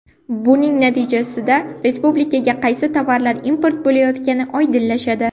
Buning natijasida, respublikaga qaysi tovarlar import bo‘layotgani oydinlashadi.